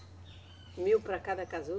Mil para cada casulo?